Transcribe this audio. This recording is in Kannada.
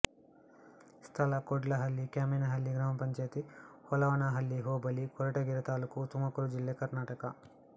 ಸ್ಥಳ ಕೋಡ್ಲಹಳ್ಳಿ ಕ್ಯಾಮೆನಹಳ್ಳಿ ಗ್ರಾಮ ಪಂಚಾಯತಿ ಹೋಳವನಹಳ್ಳಿ ಹೋಬಳಿ ಕೊರಟಗೆರೆ ತಾಲ್ಲೂಕು ತುಮಕೂರು ಜಿಲ್ಲೆ ಕರ್ನಾಟಕ